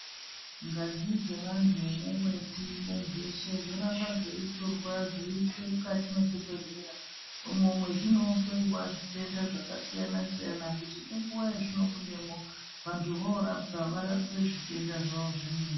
Ngazi dzevantu neweti nezveshe zvoramba zveitorwa zveiiswe mukati mwezvibhedhlera umwo mwezvinohloiwa zvitenda zvakasiyana siyana kuti ngenguwa yezvinobudemo vantu vorapwa varapwe zvitenda zvavo zvemene .